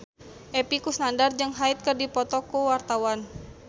Epy Kusnandar jeung Hyde keur dipoto ku wartawan